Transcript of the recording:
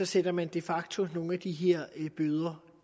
sætter man de facto nogle af de her bøder